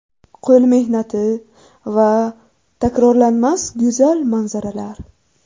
Qo‘l mehnati va... takrorlanmas, go‘zal manzaralar!